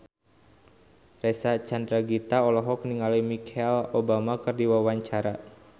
Reysa Chandragitta olohok ningali Michelle Obama keur diwawancara